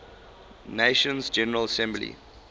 nations general assembly